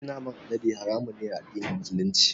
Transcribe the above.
Cin naman alade haramun ne a addinin Musulunci.